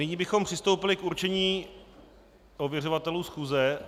Nyní bychom přistoupili k určení ověřovatelů schůze.